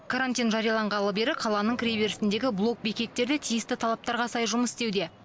карантин жарияланғалы бері қаланың кіреберісіндегі блок бекеттер де тиісті талаптарға сай жұмыс істеуде